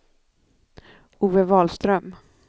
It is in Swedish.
Ove Wahlström